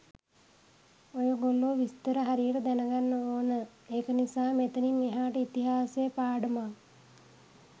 ඔයගොල්ලෝ විස්තර හරියට දැන ගන්න ඕන ඒක නිසා මෙතනින් එහාට ඉතිහාස පාඩමක්.